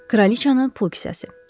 Kraliçanın pul kisəsi.